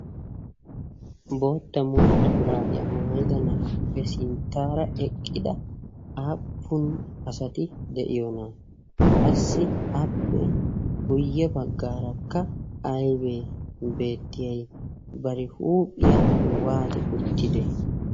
bootta mulxxa shuraabiyaa maayida na'aappe sinttaara eqqida aappun asati de'iyoona qassi appe guyye baggaarakka aybee beettiyay bari huuphiyaa waati uttide